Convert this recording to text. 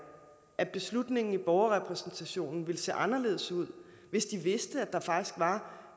at beslutningen i borgerrepræsentationen ville se anderledes ud hvis de vidste at der faktisk var